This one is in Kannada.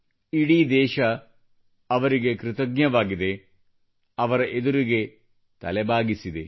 ಇಡೀ ದೇಶ ಅವರಿಗೆ ಕೃತಜ್ಞವಾಗಿದೆ ಅವರಿಗೆ ತಲೆಬಾಗಿದೆ